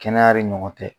Kɛnɛya de ɲɔgɔn tɛ